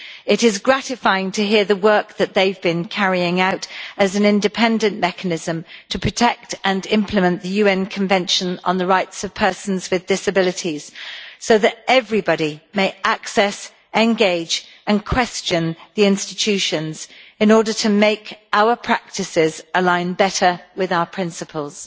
It is gratifying to hear the work that they have been carrying out as an independent mechanism to protect and implement the UN Convention on the Rights of Persons with Disabilities so that everybody may access, engage and question the institutions in order to make our practices align better with our principles.